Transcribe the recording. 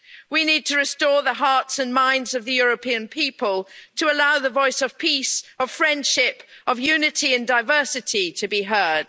We need to restore the hearts and minds of the European people to allow the voice of peace, of friendship, of unity and diversity, to be heard.